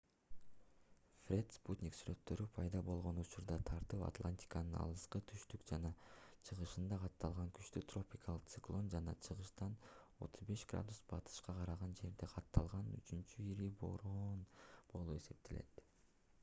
фред спутник сүрөттөрү пайда болгон учурдан тартып атлантиканын алыскы түштүк жана чыгышында катталган күчтүү тропикалык циклон жана чыгыштан 35° батышка караган жерде катталган үчүнчү ири бороон болуп эсептелет